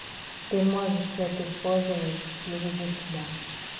ты можешь это использовать плюс для себя